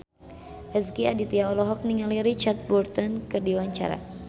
Rezky Aditya olohok ningali Richard Burton keur diwawancara